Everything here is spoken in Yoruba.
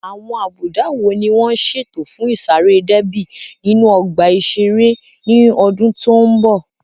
Àwọn àbùdá wo ni wọ́n ṣètò fún ìsáré déébì nínú ọgbà ìṣeré ní ọdún tó ń bọ̀?